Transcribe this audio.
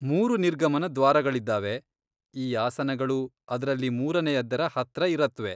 ಮೂರು ನಿರ್ಗಮನ ದ್ವಾರಗಳಿದ್ದಾವೆ, ಈ ಆಸನಗಳು ಅದ್ರಲ್ಲಿ ಮೂರನೆಯದ್ದರ ಹತ್ರ ಇರತ್ವೆ.